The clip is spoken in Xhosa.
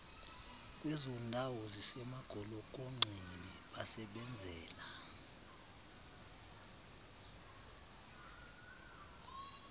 kwezondawo zisemagolokonxeni basebenzela